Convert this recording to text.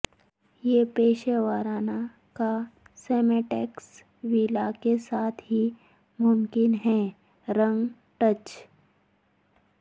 یہ پیشہ ورانہ کاسمیٹکس ویلا کے ساتھ ہی ممکن ہے رنگ ٹچ